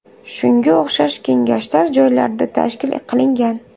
Shunga o‘xshash kengashlar joylarda tashkil qilingan.